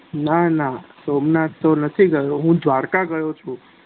ના ના સોમનાથ તો નથી ગયો હુ દ્વારકા ગયો છુ